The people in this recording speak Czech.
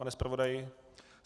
Pane zpravodaji?